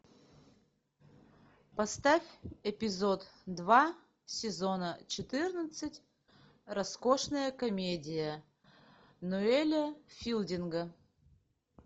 поставь эпизод два сезона четырнадцать роскошная комедия ноэля филдинга